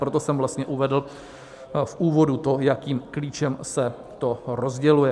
Proto jsem vlastně uvedl v úvodu to, jakým klíčem se to rozděluje.